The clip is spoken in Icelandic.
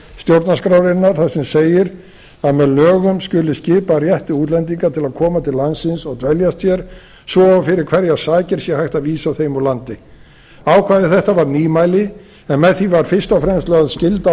þar sem segir að með lögum skuli skipa rétti útlendinga til að koma til landsins og dveljast hér svo og fyrir hverjar sakir sé hægt að vísa þeim úr landi ákvæði um þetta var nýmæli en með því var fyrst og fremst lögð skylda á